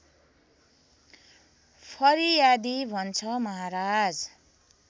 फरियादी भन्छ महाराज